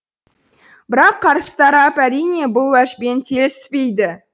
бірақ қарсы тарап әрине бұл уәжбен келіспейді